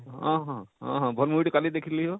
ଆଃ ହଁ ଆଃ ହଁ ଭଲ movie ଟେ କାଲି ଦେଖଲି ହୋ,